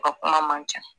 A ka kuma man ca